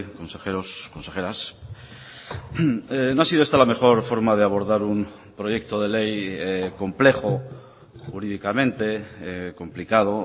consejeros consejeras no ha sido esta la mejor forma de abordar un proyecto de ley complejo jurídicamente complicado